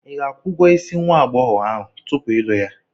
Ị ga-akwụ ụgwọ isi nwa agbọghọ ahụ tupu ị lụọ ya?